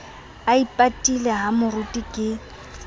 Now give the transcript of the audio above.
a ipatile ha moruti ke